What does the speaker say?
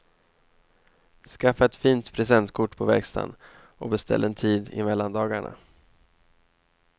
Skaffa ett fint presentkort på verkstaden och beställ en tid i mellandagarna.